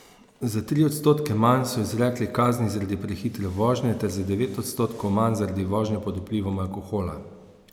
Za tri odstotke manj so izrekli kazni zaradi prehitre vožnje ter za devet odstotkov manj zaradi vožnje pod vplivom alkohola.